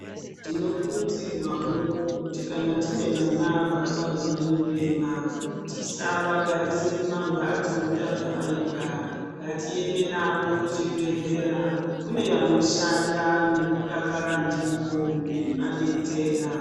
Tinokurudzirwavo kuti kana tine vana vakabarwa nehurema tisavagarise mumamhatso takavaika. Ngatiende mavo kuzvibhedhlera kune vanoshanda nekudakara ndivo veivabetsera.